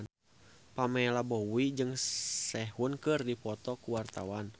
Pamela Bowie jeung Sehun keur dipoto ku wartawan